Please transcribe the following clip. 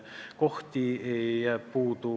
Kohti on ju puudu.